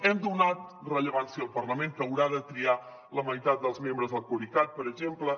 hem donat rellevància al parlament que haurà de triar la meitat dels membres del coricat per exemple